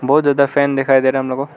बहुत ज्यादा फैन दिखाई दे रहा है हम लोग को।